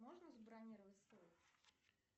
можно забронировать столик